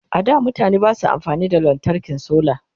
a da mutane Basu amfani da lantarkin solar